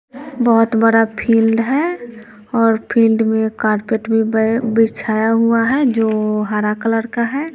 बहोत बड़ा फील्ड है और फील्ड में कारपेट भी बी बिछाया हुआ है जो हरा कलर का है।